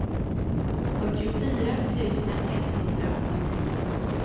fyrtiofyra tusen etthundraåttionio